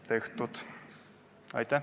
Aitäh!